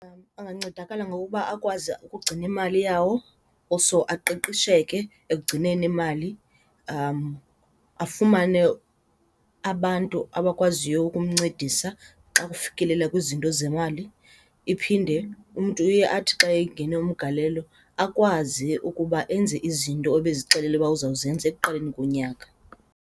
Angancedakala ngokuba akwazi ukugcina imali yawo also aqeqesheke ekugcineni imali afumane abantu abakwaziyo ukumncedisa xa kufikelela kwizinto zemali. Iphinde umntu uye athi xa engena umgalelo akwazi ukuba enze izinto obezixelele uba uza kuzenza ekuqaleni konyaka.